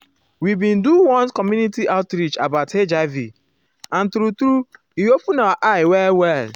we bin do one community outreach about hiv and true-true e open our eye well well.